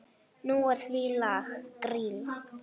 Nú er því lag.